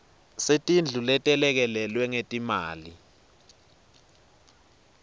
setindlu letelekelelwe ngetimali